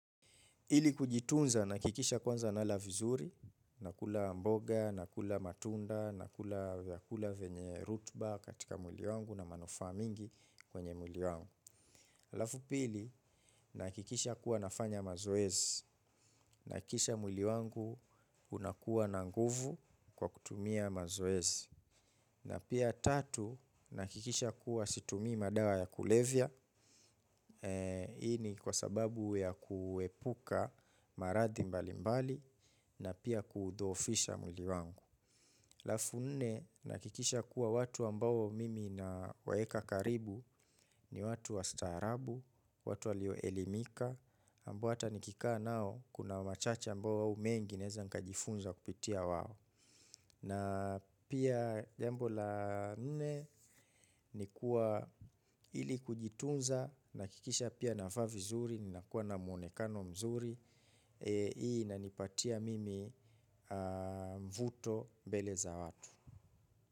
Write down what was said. Ili kujitunza nahakikisha kwanza nala vizuri, nakula mboga, nakula matunda, nakula vyakula vyenye rutba katika mwili wangu na manufaa mingi kwenye mwili wangu. Halafu pili nahakikisha kuwa nafanya mazoezi, nahakikisha mwili wangu unakuwa na nguvu kwa kutumia mazoezi. Na pia tatu, nahakikisha kuwa situmii madawa ya kulevya, hii ni kwa sababu ya kuepuka marathi mbalimbali na pia kudhoofisha mwili wangu. Alafu nne, nahakikisha kuwa watu ambao mimi nawaeka karibu ni watu wa staarabu, watu walio elimika, ambao hata nikikaa nao kuna machache ambao au mengi naeza nkajifunza kupitia wao. Na pia jambo la nne ni kuwa ili kujitunza nahakikisha pia navaa vizuri ninakuwa na mwonekano mzuri. Hii inanipatia mimi mvuto mbele za watu.